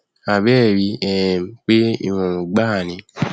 àbbẹẹ ríi um pé ìrọrùn gbáà ni